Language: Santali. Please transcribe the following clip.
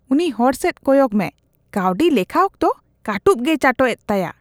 ᱩᱱᱤ ᱦᱚᱲᱥᱮᱪ ᱠᱚᱭᱚᱜ ᱢᱮ ᱾ ᱠᱟᱹᱣᱰᱤ ᱞᱮᱠᱷᱟ ᱚᱠᱛᱚ ᱠᱟᱹᱴᱩᱵ ᱜᱮᱭ ᱪᱟᱴᱚᱜ ᱮᱫ ᱛᱟᱭᱟ ᱾